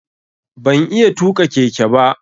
Ban iya tuƙa keke ba.